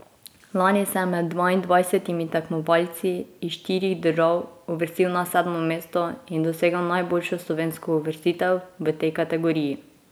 Lani se je med dvaindvajsetimi tekmovalci iz štirih držav uvrstil na sedmo mesto in dosegel najboljšo slovensko uvrstitev v tej kategoriji.